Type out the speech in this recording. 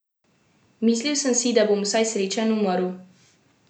Mislil sem si, da bom vsaj srečen umrl.